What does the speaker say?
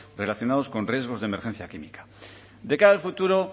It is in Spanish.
relacionados con riesgos de emergencia química de cara al futuro